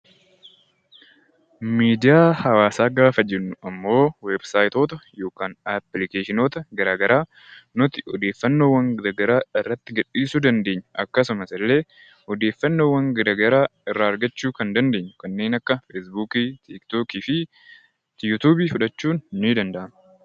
Miidiyaa hawaasaa gaafa jennu immoo weebsaayitoota yookiin appilikeeshinoota garaagaraa nuti odeeffannoo garaagaraa irratti gadhiisuu dandeenyu akkasumas illee odeeffannoo garaagaraa irraa argachuu kan dandeenyu kanneen akka tiktookii fi yuutuubiis fudhachuu ni dandeenya.